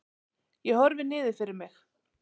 Ég horfi niður fyrir mig.